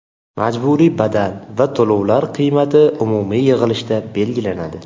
Majburiy badal va to‘lovlar qiymati umumiy yig‘ilishda belgilanadi.